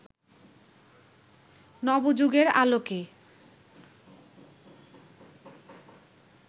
নবযুগের আলোকে